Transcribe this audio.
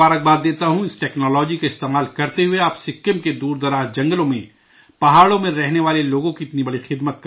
اس technology کا استعمال کرتے ہوئے آپ سکم کے دور افتادہ جنگلوں میں، پہاڑوں میں رہنے والے لوگوں کی اتنی بڑی خدمت کر رہے ہیں